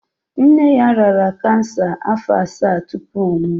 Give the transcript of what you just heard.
Nne ya rịara cancer afọ assa tupu ọ nwụọ.